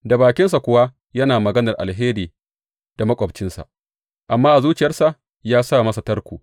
Da bakinsa kowa yana maganar alheri da maƙwabcinsa, amma a zuciyarsa ya sa masa tarko.